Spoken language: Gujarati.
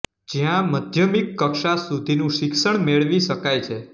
જ્યાં મધ્યમિક કક્ષા સુધીનું શીક્ષણ મેળવી શકાય છે